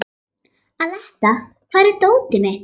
Aletta, hvar er dótið mitt?